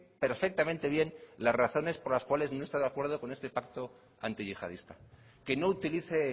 perfectamente bien las razones por las cuales no está de acuerdo con este pacto antiyihadista que no utilice